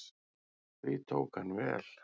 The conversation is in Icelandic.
Því tók hann vel.